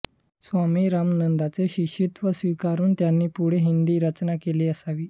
स्वामी रामानंदांचे शिष्यत्व स्वीकारून त्यांनी पुढे हिंदी रचना केली असावी